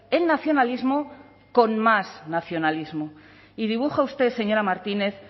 el nacionalismo con más nacionalismo y dibuja usted señora martínez